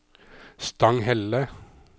Stanghelle